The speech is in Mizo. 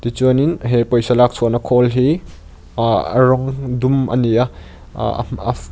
tichuanin he pawisa lak chhuahna khawl hi aah rawng dum a ni a ahh a .